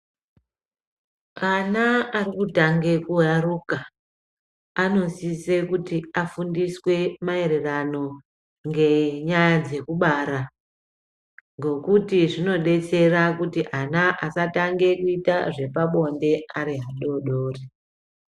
Ana ari kutange ku aruka ano sise kuti afundiswe ma ererano nge nyaya dzeku bara ngekuti zvino detsera kuti ana asa tange kuita zvepa bonde ari adodori.